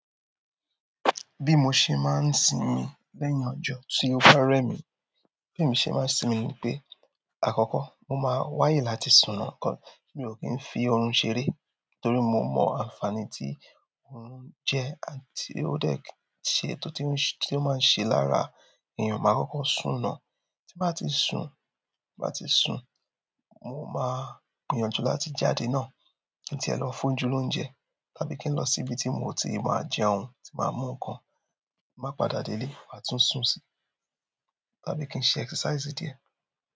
Bí mo ṣe máa ń sinmi lẹ́yìn ọjọ́ tí ó bá rẹ̀ mí, bí èmi ṣe máa ń sinmi ni pé àkọ́kọ́ mo máa wáyè láti sùn ná kan mi ò kí ń fi oorun ṣeré torí mo mọ àǹfààní tí oorun jẹ́ àti ó dẹ̀ ṣe, tótún tí ó máa ń ṣe lára èèyàn. Màá kọ́kọ́ sùn ná, tí n bá ti sùn, tí n bá ti sùn, mo máa gbìyànjú láti jáde náà kí n tiẹ̀ lọ fójú lóúnjẹ tàbí kí n lọ síbi tí mo ti ma jẹun, tí màá mu nǹkan, tí n bá padà dé lé màá tún sùn si tàbí kí n ṣe exercise díẹ̀.